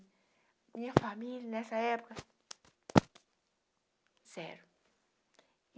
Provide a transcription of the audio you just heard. Minha família, nessa época... Sério.